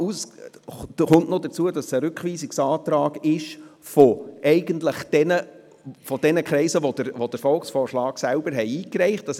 Hinzu kommt, dass es ein Rückweisungsantrag jener Kreise ist, die den Volksvorschlag selber eingereicht haben.